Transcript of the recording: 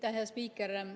Aitäh hea spiiker!